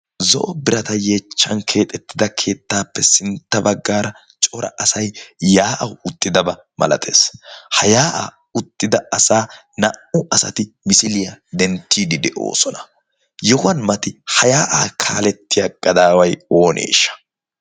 zo7o birata yeechchan keexettida keettaappe sintta baggaara cora asai yaa7au uttidabaa malatees ha yaa7aa uttida asaa naa77u asati misiliyaa denttiidi de7oosona yohuwan mati ha yaa7aa kaalettiya gadaawai ooneeshsha